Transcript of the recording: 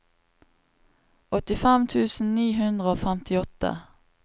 åttifem tusen ni hundre og femtiåtte